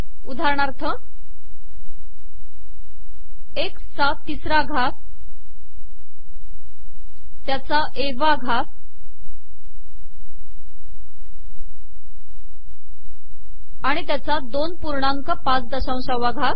उदाहरणाथर एकसचा ितसरा घात तयाचा ए वा घात आिण तयाचा दोन पूणाक पाच दशाशावा घात